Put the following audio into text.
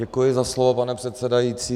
Děkuji za slovo, pane předsedající.